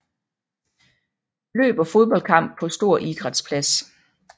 Løb og fodboldkamp på stor idrætsplads